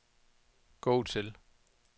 gå til